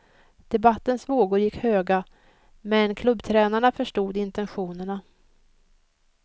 Debattens vågor gick höga, men klubbtränarna förstod intentionerna.